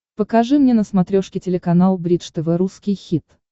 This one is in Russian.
покажи мне на смотрешке телеканал бридж тв русский хит